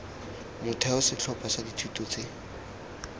motheo setlhopha sa dithuto tse